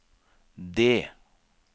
det